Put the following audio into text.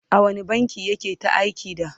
a wani bankin yake ta aiki da?